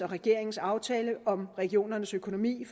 regeringens aftale om regionernes økonomi